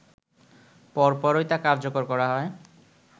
পরপরই তা কার্যকর করা হয়